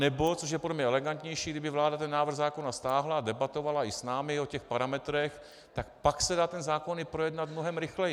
Anebo, což je podle mě elegantnější, kdyby vláda ten návrh zákona stáhla a debatovala i s námi o těch parametrech, tak pak se dá ten zákon i projednat mnohem rychleji.